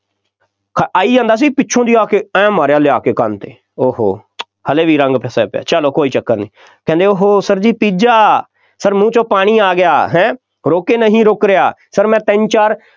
ਆਈ ਜਾਂਦਾ ਸੀ ਪਿੱਛੋਂ ਦੀ ਆ ਕੇ, ਆਏਂ ਮਾਰਿਆ ਲਿਆ ਕੇ, ਕੰਨ 'ਤੇ, ਉਹ ਹੋ, ਹਾਲੇ ਵੀ ਰੰਗ ਫਸਿਆ ਪਿਆ, ਚੱਲੋ ਕੋਈ ਚੱਕਰ ਨਹੀਂ, ਕਹਿੰਦੇ ਉਹ Sir ਜੀ ਪੀਜ਼ਾ, Sir ਮੂੰਹ 'ਚੋਂ ਪਾਣੀ ਆ ਗਿਆ, ਹੈਂ, ਰੋਕੇ ਨਹੀਂ ਰੁੱਕ ਰਿਹਾ, Sir ਮੈਂ ਤਿੰਨ ਚਾਰ